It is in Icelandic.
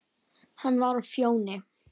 Hann var á Fjóni.